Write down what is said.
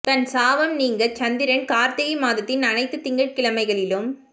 தன் சாபம் நீங்க சந்திரன் கார்த்திகை மாதத்தின் அனைத்து திங்கட் கிழமைகளிலும்